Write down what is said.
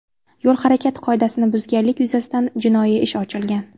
Yo‘l harakati qoidasini buzganlik yuzasidan jinoiy ish ochilgan.